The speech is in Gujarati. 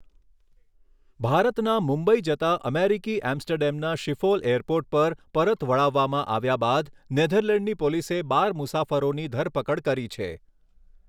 ભારતના મુંબઈ જતાં અમેરિકી એમ્સ્ટરડેમના શિફોલ એરપોર્ટ પર પરત વળાવવામાં આવ્યા બાદ નેધરલેન્ડની પોલીસે બાર મુસાફરોની ધરપકડ કરી છે.